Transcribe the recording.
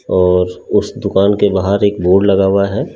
और उस दुकान के बाहर एक बोर्ड लगा हुआ है।